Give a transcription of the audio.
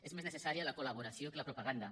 és més necessària la col·laboració que la propaganda